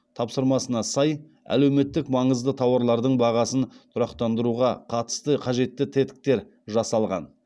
тапсырмасына сай әлеуметтік маңызды тауарлардың бағасын тұрақтандыруға қатысты қажетті тетіктер жасалған